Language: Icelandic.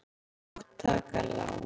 Og taka lán.